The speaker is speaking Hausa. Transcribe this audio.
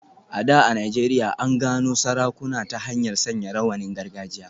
A da a Najeriya, an gano sarakuna ta hanyar sanya rawanin gargajiya.